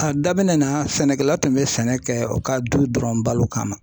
A daminɛ na sɛnɛkɛla tun be sɛnɛ kɛ u ka du dɔrɔn balo kama.